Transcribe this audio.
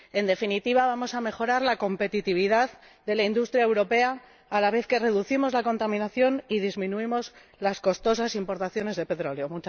En definitiva, vamos a mejorar la competitividad de la industria europea a la vez que reducimos la contaminación y disminuimos las costosas importaciones de petróleo.